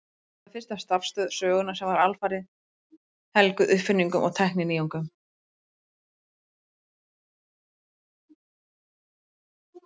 Þetta var fyrsta starfstöð sögunnar sem var alfarið helguð uppfinningum og tækninýjungum.